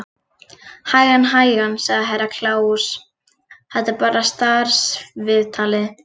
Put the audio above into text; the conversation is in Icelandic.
Hægan, hægan, sagði Herra Kláus, þetta er bara starfsviðtalið.